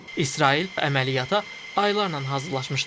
İsrail əməliyyata aylarla hazırlaşmışdı.